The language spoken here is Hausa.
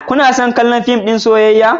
Kano son kallon fim ɗin soyayya?